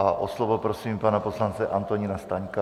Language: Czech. A o slovo prosím pana poslance Antonína Staňka.